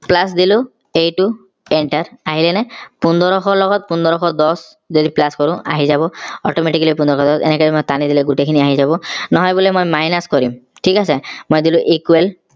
plus দিলো এইটো enter আহিলেনে পোন্ধৰ শ ৰ লগত পোন্ধৰ শ দচ যদি plus কৰোঁ আহি যাব automatically পোন্ধৰ শ দচ এনেকে টানি দিলে গোটেই খিনি আহি যাব নহয় বোলে মই minus কৰিম ঠিক আছে মই দিলো equal plus দিলো এইটো enter আহিলে নে